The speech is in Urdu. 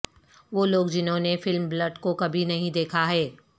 وہ لوگ جنہوں نے فلم بلٹ کو کبھی نہیں دیکھا ہے